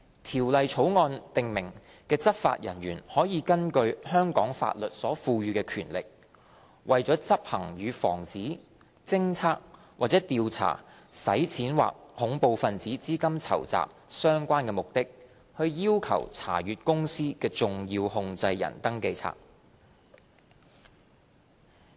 《條例草案》訂明的執法人員可以根據香港法律所賦予的權力，為執行與防止、偵測或調查洗錢或恐怖分子資金籌集相關的目的，要求查閱公司的"重要控制人登記冊"。